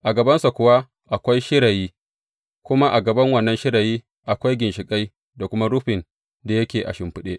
A gabansa kuwa akwai shirayi, kuma a gaban wannan shirayi akwai ginshiƙai da kuma rufin da yake a shimfiɗe.